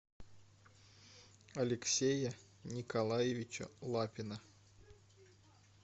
алексея николаевича лапина